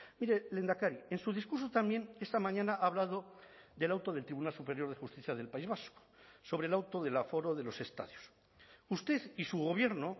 mire lehendakari en su discurso también esta mañana ha hablado del auto del tribunal superior de justicia del país vasco sobre el auto del aforo de los estadios usted y su gobierno